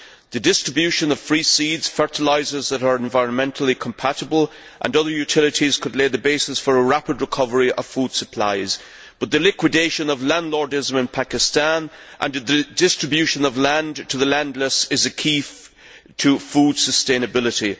The distribution of free seeds, fertilisers that are environmentally compatible and other utilities could lay the basis for a rapid recovery of food supplies, but the liquidation of landlordism in Pakistan and the distribution of land to the landless is a key to food sustainability.